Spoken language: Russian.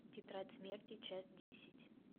тетрадь смерти часть десять